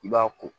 I b'a ko